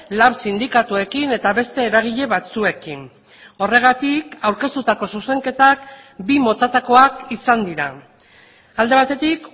lan sindikatuekin eta beste eragile batzuekin horregatik aurkeztutako zuzenketak bi motatakoak izan dira alde batetik